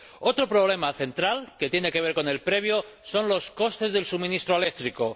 Otro problema central, que tiene que ver con el antyerior, son los costes del suministro eléctrico.